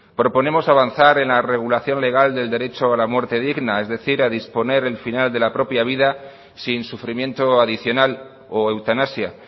proponemos avanzar en la regulación legal del derecho a la muerte digna es decir a disponer el final de la propia vida sin sufrimiento adicional o eutanasia